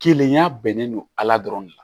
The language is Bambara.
Kelenya bɛnnen don ala dɔrɔn de la